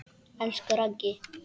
Elsku Raggi.